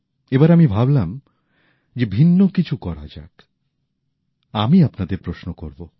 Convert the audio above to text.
এই বার আমি ভাবলাম যে ভিন্ন কিছু করা যাক আমি আপনাদের প্রশ্ন করব